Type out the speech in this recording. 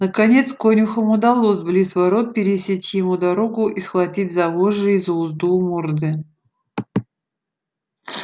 наконец конюхам удалось близ ворот пересечь ему дорогу и схватить за вожжи и за узду у морды